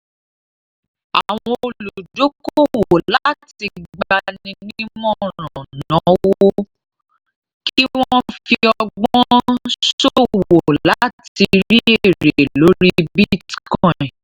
àwọn oludokowo láti gbanimoran náwó kí wọn fi ọgbọ́n sowo láti rí ère lórí bitcoin.